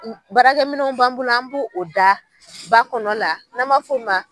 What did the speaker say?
Barakɛ minɛnw b'an bolo an bo o da ba kɔnɔ la n'an m'a f'o ma